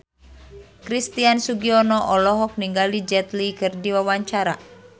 Christian Sugiono olohok ningali Jet Li keur diwawancara